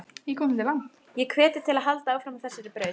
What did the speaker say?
Ég hvet þig til að halda áfram á þessari braut.